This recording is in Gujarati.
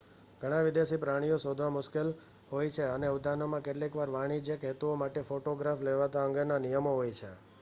ઘણા વિદેશી પ્રાણીઓ શોધવા મુશ્કેલ હોય છે અને ઉદ્યાનોમાં કેટલીક વાર વાણિજ્યક હેતુઓ માટે ફોટોગ્રાફ લેવા અંગેના નિયમો હોય છે